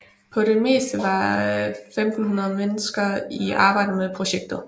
På det meste var 1500 mennesker i arbejde med projektet